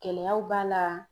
Gɛlɛyaw b'a la.